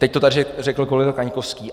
Teď to tady řekl kolega Kaňkovský.